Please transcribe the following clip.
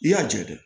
I y'a jɛ dɛ